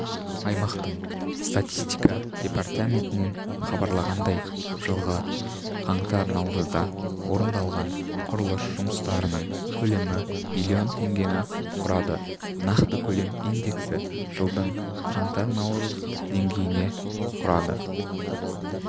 аймақтың статистика департаментінен хабарлағандай жылғы қаңтар-наурызда орындалған құрылыс жұмыстарының көлемі млн теңгені құрады нақты көлем индексі жылдың қаңтар-наурыз деңгейіне құрады